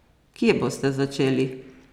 Kje boste začeli?